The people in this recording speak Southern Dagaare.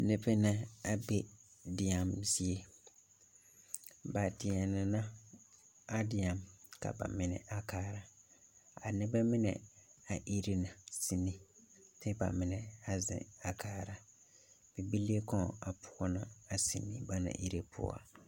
Nubɛ na a be deɛmo zie ba deɛnɛ na a deɛm ka ba mine a kaara a nobɛ mine a ire na sini kyɛ ba mine a ziŋ a kaara bibile kɔŋ a poɔnɔ a sini banaŋ kaara.